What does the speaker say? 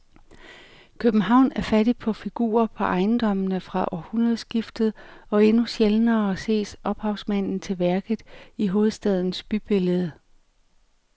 København er fattig på figurer på ejendommene fra århundredskiftet og endnu sjældnere ses ophavsmanden til værket i hovedstadens bybillede.